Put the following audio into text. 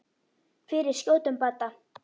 Fyrir skjótum bata.